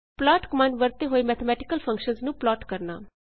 plot command ਵਰਤਦੇ ਹੋਏ mathematical functions ਨੂੰ ਪਲਾਟ ਕਰਨਾ